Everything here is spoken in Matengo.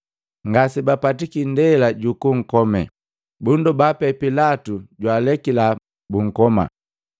Ngase bapatiki ndela jukunkome, bundoba pee Pilatu jwaalekila bunkoma.